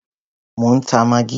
Mò ń ta maggi.